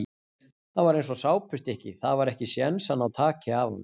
Hann var eins og sápustykki, það var ekki séns að ná taki af honum.